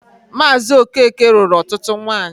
Maazị Okeke nụrụ ọtụtụ nwanyị.